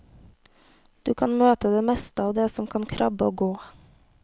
Du kan møte det meste av det som kan krabbe og gå.